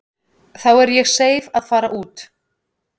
Þá er ég seif að fara út.